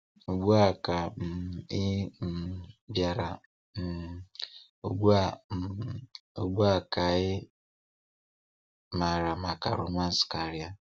Ugbu a ka um ị um bịara, um ugbu a um ugbu a ka ị maara maka romance karịa.